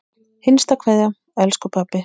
HINSTA KVEÐJA Elsku pabbi.